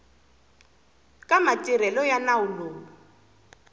ka matirhelo ya nawu lowu